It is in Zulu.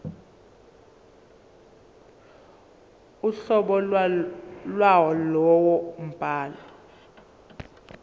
uhlobo lwalowo mbhalo